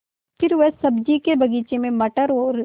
फिर वह सब्ज़ी के बगीचे में मटर और